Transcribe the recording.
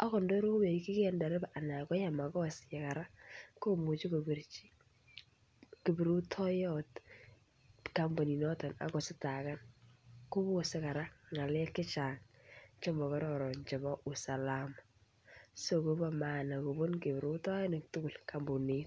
Angot ndaiwekyigei ndereba kora anan koyai makosa kora komuchi kowekyikei kiprutoiyot kampuninoto akoistakan. Kobose kora ng'aalek chemokororon chemobo usalama. Konyolu anun kobun kiprutoinik tugul kampunit.